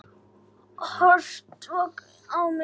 Horfði hvasst á mig.